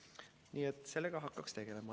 Nii et sellega hakkaks tegelema.